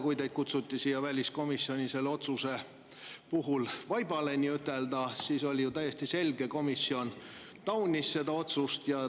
Kui teid kutsuti siia väliskomisjoni nii-ütelda vaibale selle otsuse pärast, siis oli ju täiesti selge, et komisjon taunis seda otsust.